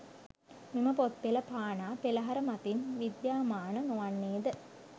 මෙම පොත් පෙළ පානා පෙළහර මතින් විද්‍යාමාන නොවන්නේ ද?